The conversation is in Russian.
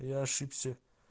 я ошибся